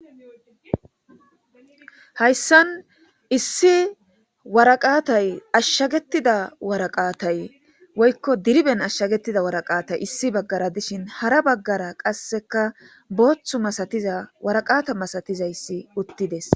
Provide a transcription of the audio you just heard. Hayssan issi waraqatay ashshagetida waraqaatay woykko diriben ashshagettida waraqaatay issi baggara dishin hara baggara qasseka booththu masatiza waraqata masatizayssi uttides.